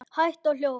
Hægt og hljótt.